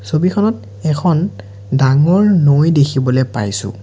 ছবিখনত এখন ডাঙৰ নৈ দেখিবলৈ পাইছোঁ।